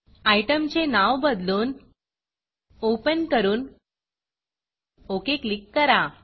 आयटमचे नाव बदलून Openओपन करून OKओके क्लिक करा